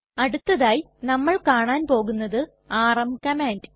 അടുത്തതായി നമ്മൾ കാണാൻ പോകുന്നത് ആർഎം കമാൻഡ്